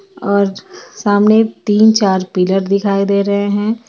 और सामने तीन चार पिलर दिखाईं दे रहे है.